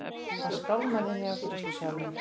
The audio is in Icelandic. Hann skálmaði inn í afgreiðslusalinn.